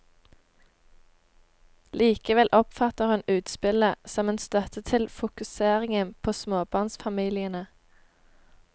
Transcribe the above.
Likevel oppfatter hun utspillet som en støtte til fokuseringen på småbarnsfamiliene.